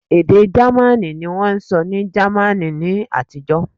ede jamaní ni wón n sọ ni jamaní ni àtijó